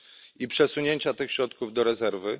i przesunięcia tych środków do rezerwy.